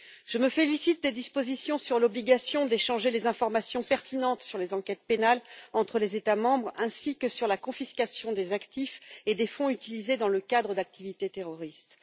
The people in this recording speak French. Je me félicite des dispositions sur l'obligation d'échanger les informations pertinentes sur les enquêtes pénales entre les États membres, ainsi que sur la confiscation des actifs et des fonds utilisés dans le cadre d'activités terroristes.